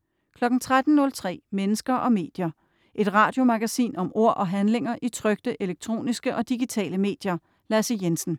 13.03 Mennesker og medier. Et radiomagasin om ord og handlinger i trykte, elektroniske og digitale medier. Lasse Jensen